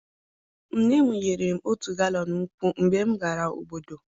nne m nyere m otu galọn nkwụ mgbe m gara obodo.